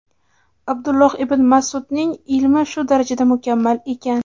Abdulloh ibn Mas’udning ilmi shu darajada mukammal ekan.